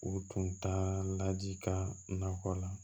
U tun ta la jikalan